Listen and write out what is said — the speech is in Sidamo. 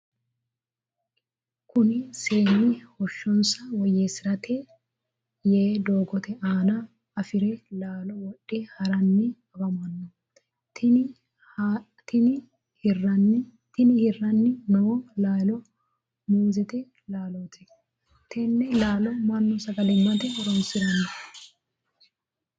Kunni seenni heeshonsa woyeesirate yee doogote aanna afiri laalo wodhe hiranni afamano. Tinni hiranni noo laalo muuzete laalooti. Tenne laalo Manu sagalimate horoonsirano.